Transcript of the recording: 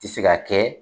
Tɛ se ka kɛ